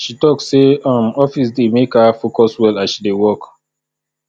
she tok sey um office dey make her focus well as she dey work